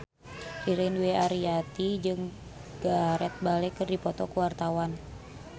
Ririn Dwi Ariyanti jeung Gareth Bale keur dipoto ku wartawan